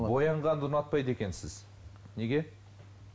боянғанды ұнатпайды екенсіз неге